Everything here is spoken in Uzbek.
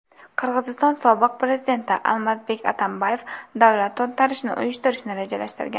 Qirg‘iziston sobiq prezidenti Almazbek Atambayev davlat to‘ntarishini uyushtirishni rejalashtirgan.